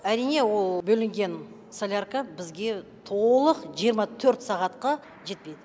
әрине ол бөлінген солярка бізге толық жиырма төрт сағатқа жетпейді